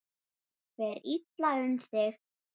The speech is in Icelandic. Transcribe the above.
Fer illa um þig?